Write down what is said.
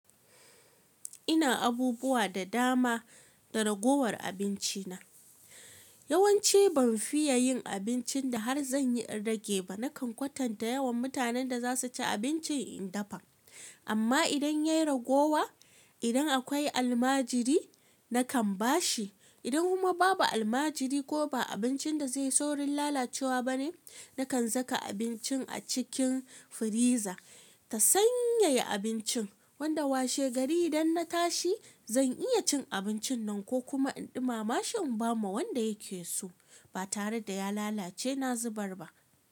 Ina abubuwa da dama da ragowar abinci na. Yawanci ban fiya yin abincin da har zanyi in rage ba. Nakan kwatanta yawan mutanen da za su ci abincin in dafa. Amma idan ya ragowa, idan akwai almajiri nakan ba shi. Idan kuma babu almajiri ko ba abincin da zai saurin lalacewa bane, nakan saka abincin a cikin firiza ta sanyaya abincin. Wanda washe gari idan na tashi zan iya cin abincin nan ko kuma in ɗumama shi in ba ma wanda yake so ba tare da ya lalace na zubar ba.